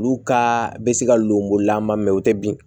Olu ka bɛ se ka lenbonko la ma mɛ u tɛ bin